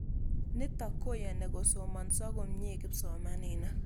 Nitok koyani kosomanso komnye kimsomaninik.